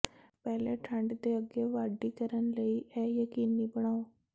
ਪਹਿਲੇ ਠੰਡ ਦੇ ਅੱਗੇ ਵਾਢੀ ਕਰਨ ਲਈ ਇਹ ਯਕੀਨੀ ਬਣਾਓ